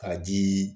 Ka jii